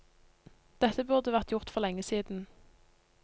Dette burde vært gjort for lenge siden.